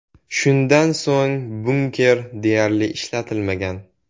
Shundan so‘ng, bunker deyarli ishlatilmagan.